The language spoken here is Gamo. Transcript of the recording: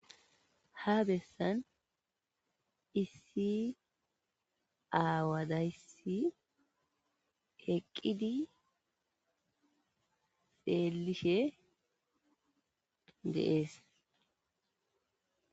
Ha besan issi awazaysi eqidi xelishe dee'es .